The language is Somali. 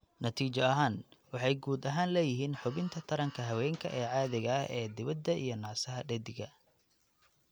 Natiijo ahaan, waxay guud ahaan leeyihiin xubinta taranka haweenka ee caadiga ah ee dibadda iyo naasaha dheddigga.